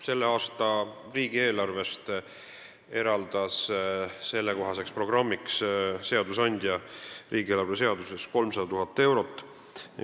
Selle aasta riigieelarvest eraldas seadusandja sellekohaseks programmiks riigieelarvest 300 000 eurot.